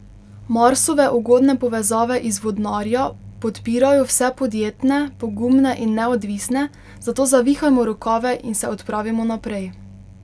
Marsove ugodne povezave iz Vodnarja podpirajo vse podjetne, pogumne in neodvisne, zato zavihajmo rokave in se odpravimo naprej.